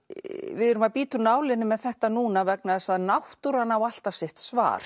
við erum að bíta úr nálinni með þetta núna vegna þess að náttúran á alltaf sitt svar